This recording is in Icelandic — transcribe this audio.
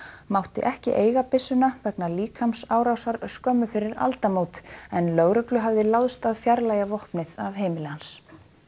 mátti ekki eiga byssuna vegna líkamsárásar skömmu fyrir aldamót en lögreglu hafði láðst að fjarlægja vopnið af heimili hans